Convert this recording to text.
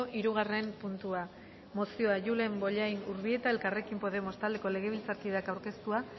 hirugarren puntua mozioa julen bollain urbieta elkarrekin podemos taldeko legebiltzarkideak aurkeztua